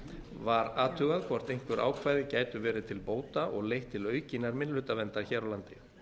var athugað hvort einhver ákvæði gætu verið til bóta og leitt til aukinnar minnihlutaverndar hér á landi